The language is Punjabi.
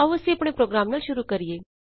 ਆਉ ਅਸੀਂ ਆਪਣੇ ਪ੍ਰੋਗਰਾਮ ਨਾਲ ਸ਼ੁਰੂ ਕਰੀਏ